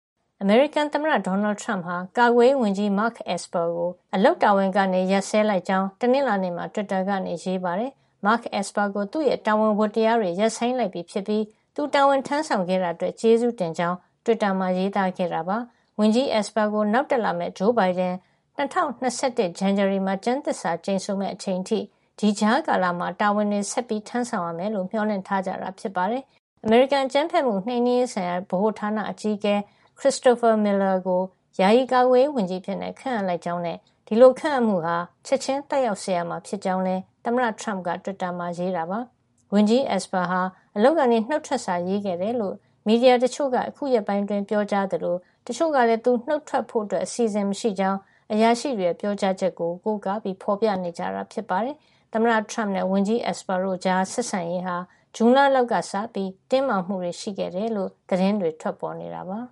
အမေရိကန်သမ္မတ ဒေါ်နယ်ထရမ့်ဟာ ကာကွယ်ရေးဝန်ကြီး Mark Esper ကို အလုပ်တာဝန်ကနေ ရပ်စဲလိုက်ကြောင်း တနင်္လာနေ့မှာ တွစ်တာကနေ ရေးပါတယ်။ Mark Esper ကို သူ့ရဲ့ တာဝန်ဝတ္တရား တွေ ရပ်ဆိုင်းလိုက်ပြီဖြစ်ပြီး သူတာဝန်ထမ်းဆောင်ခဲ့တာအတွက် ကျေးဇူးတင်ကြောင်း တွစ်တာမှာ ရေးသားခဲ့တာပါ။ ဝန်ကြီး Esper ကို နောက်တက်လာမယ့် ဂျိုးဘိုင်ဒန် ၂၀၂၁ ဇန်နဝါရီလမှာ ကျမ်းသစ္စာကျိန်ဆိုမယ့် အချိန်အထိ ဒီကြားကာလမှာ တာဝန်တွေ ဆက်ထမ်းဆောင်ရမယ်လို့ မေ ျှာ်လင့်ထား ကြတာ ဖြစ်ပါတယ်။ အမေရိကန် အကြမ်းဖက်မှုနှိမ်နင်းရေးဆိုင်ရာ ဗဟိုဌာန အကြီးအကဲ Christopher Miller ကို ယာယီ ကာကွယ်ရေးဝန်ကြီးအဖြစ် ခန့်အပ်ကြောင်းနဲ့ ဒီလို ခန့်အပ်မှုဟာ ချက်ချင်း သက်ရောက်စေရမှာ ဖြစ်ကြောင်း သမ္မတထရမ့်က တွစ်တာမှာ ရေးတာပါ။ ဝန်ကြီး Esper ဟာ အလုပ်ကနေ နှုတ်ထွက်စာ ရေးခဲ့တယ်လို့ မီဒီယာတချို့က အခု ရက်ပိုင်းအတွင်း ပြောကြားသလို တချို့ကလည်း သူနှုတ်ထွက် ဖို့အစီစဉ် မရှိကြောင်း အရာရှိတွေရဲ့ ပြောကြားချက်တွေကို ကိုးကား ဖေါ်ပြနေတာ ဖြစ်ပါတယ်။ သမ္မတထရမ့်နဲ့ ဝန်ကြီး Esper တို့ကြား ဆက်ဆံရေးဟာ ဇွန်လလောက်ကမှ စပြီး တင်းမာမှုတွေ ရှိခဲ့တယ်လို့လည်း သတင်းတွေ ထွက်ပေါ်နေတာပါ